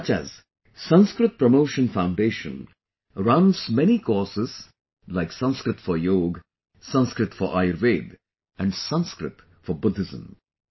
Such as Sanskrit Promotion foundation runs many courses like Sanskrit for Yog, Sanskrit for Ayurveda and Sanskrit for Buddhism